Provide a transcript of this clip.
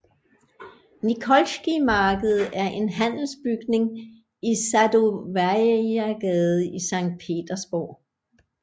Nikolskije Marked er en handelsbygning i Sadovajagade i Sankt Petersborg